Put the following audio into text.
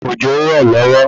Òjò ń rọ̀ lọ́wọ́